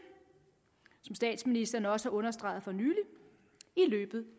som statsministeren også har understreget for nylig i løbet